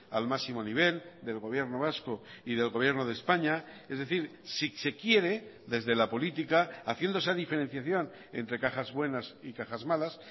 al máximo nivel del gobierno vasco y del gobierno de españa es decir si se quiere desde la política haciendo esa diferenciación entre cajas buenas y cajas malas